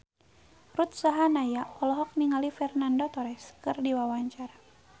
Ruth Sahanaya olohok ningali Fernando Torres keur diwawancara